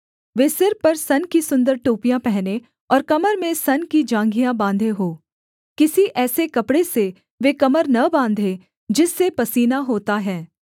वे सिर पर सन की सुन्दर टोपियाँ पहनें और कमर में सन की जाँघिया बाँधे हों किसी ऐसे कपड़े से वे कमर न बाँधे जिससे पसीना होता है